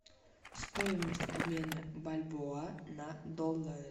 стоимость обмена бальбоа на доллары